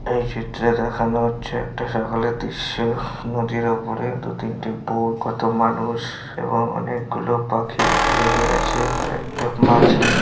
এই চিত্রে দেখানো হচ্ছে একটা সকালের দৃশ্য। নদীর উপরে দু তিনটে বোট কত মানুষ এবং অনেকগুলো পাখি উড়ে বেড়াচ্ছে আর একটা মাঝি --